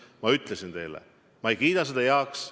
Ma ütlesin teile, et ma ei kiida seda heaks.